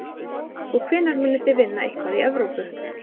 Og hvenær munið þið vinna eitthvað í Evrópu?